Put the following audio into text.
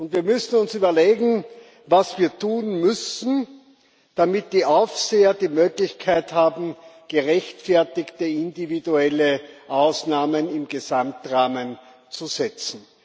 Wir müssen uns überlegen, was wir tun müssen, damit die Aufseher die Möglichkeit haben, gerechtfertigte, individuelle Ausnahmen im Gesamtrahmen zu setzen.